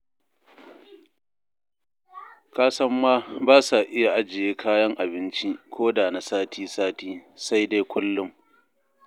Kasan ma ba sa iya ajiye kayan abinci koda na sati-sati, sai dai kullum.